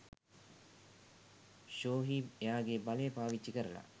ෂෝහිබ් එයාගේ බලය පාවිච්චි කරලා